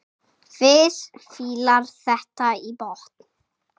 Fis fílar þetta í botn!